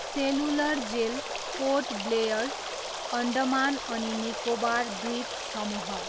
cellular jail, Port Blair, Andaman अनि निकोबार द्वीपसमूह